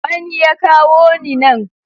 Wani ya kawo ni nan.